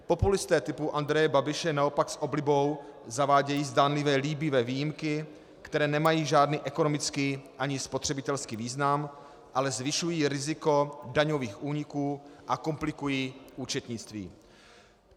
Populisté typu Andreje Babiše naopak s oblibou zavádějí zdánlivě líbivé výjimky, které nemají žádný ekonomický ani spotřebitelský význam, ale zvyšují riziko daňových úniků a komplikují účetnictví.